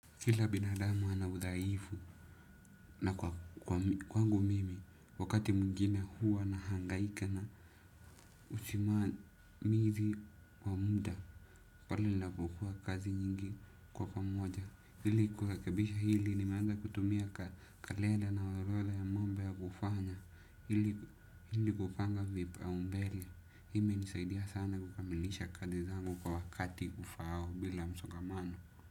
Kila binadamu ana udhaifu na kwangu mimi wakati mwingine huwa nahangaika na usimamizi wa muda. Kwani ninapokuwa kazi nyingi kwa pamoja ili kurekebisha hili nimeanza kutumia kalenda na orodha ya mambo ya kufanya. Hili kupanga vipaumbele imenisaidia sana kukamilisha kazi zangu kwa wakati ufaao bila msongamano.